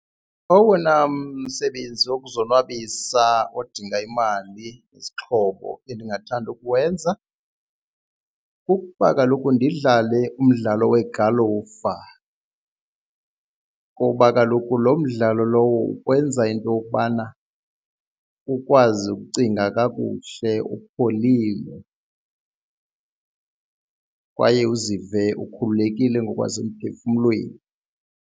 Owona msebenzi wokuzonwabisa odinga imali yezixhobo endingathanda ukuwenza kukuba kaloku ndidlale umdlalo wegalufa, ngoba kaloku lo mdlalo lowo ukwenza into yokubana ukwazi ukucinga kakuhle upholile kwaye uzive ukhululekile ngokwasemphefumlweni.